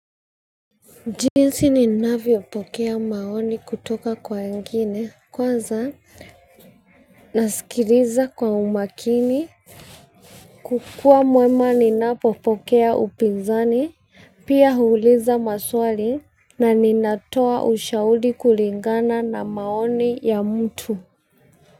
Jinsi ninavyopokea maoni kutoka kwa wengine kwanza nasikiliza kwa umakini. Kukuwa mwema ninapopokea upinzani, pia huuliza maswali na ninatoa ushauri kulingana na maoni ya mtu.